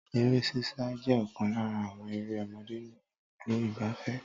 Eré sísá jẹ́ ọ̀kan lára àwọn eré ọmọdé ni ibùdó igbàfẹ́.